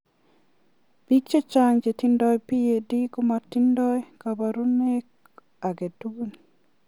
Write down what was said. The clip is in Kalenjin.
Pik chechang che tinye PAD kamtaindoi kabarunaik ake tugul.